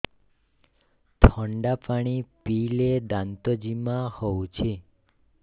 ଥଣ୍ଡା ପାଣି ପିଇଲେ ଦାନ୍ତ ଜିମା ହଉଚି